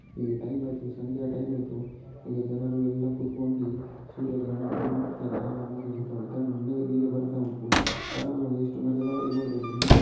ಈಗ ಟೈಮ್ ಆಯ್ತು ಸಂಜೆಯ ಟೈಮ್ ಆಯ್ತು ಇಲ್ಲಿ ಜನರು ಎಲ್ಲ ಕೂತ್ಕೊಂಡಿ ಸೂರ್ಯ ಗ್ರಹಣವನ್ನು ನೋಡುತ್ತಾರೆ ಆರಾಮಾಗಿ ಕುತ್ಕೊಂಡು ತಣ್ಣಗೆ ನೀರು ಬರುತ್ತಾ ಉಂಟು ಆರಾಮಾಗಿ ಎಷ್ಟು ಮಜವಾಗಿ ನೋಡಬಹುದು --